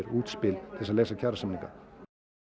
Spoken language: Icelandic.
útspil til þess að leysa kjarasamninga